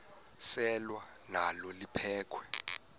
selwa nalo liphekhwe